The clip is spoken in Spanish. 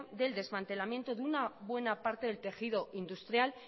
del desmantelamiento de una buena parte del tejido industrial